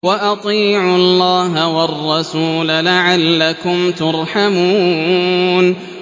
وَأَطِيعُوا اللَّهَ وَالرَّسُولَ لَعَلَّكُمْ تُرْحَمُونَ